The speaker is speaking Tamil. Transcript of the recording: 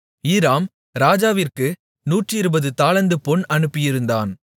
ஈராம் ராஜாவிற்கு நூற்றிருபது தாலந்து பொன் அனுப்பியிருந்தான்